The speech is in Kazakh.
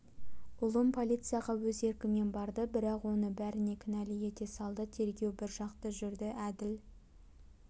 ұлым полицияға өз еркімен барды бірақ оны бәріне кінәлі ете салды тергеу біржақты жүрді әділ